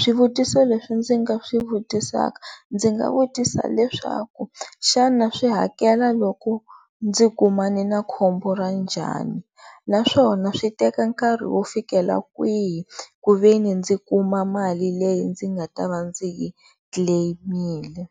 swivutiso leswi ndzi nga swi vutisaka ndzi nga vutisa leswaku xana swi hakela loko ndzi kumane na khombo ra njhani naswona swi teka nkarhi wo fikelela kwihi ku ve ni ndzi kuma mali leyi ndzi nga ta va ndzi yi claim-mile.